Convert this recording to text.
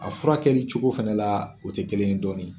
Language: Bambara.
A fura kɛli cogo fɛnɛ la o tɛ kelen ye dɔɔni.